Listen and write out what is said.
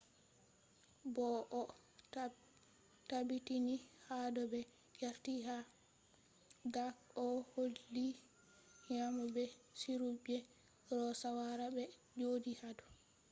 bo o tabbitini hado be yardi ha dark oh holli nyamo be sirru je roe shawara be jodi hado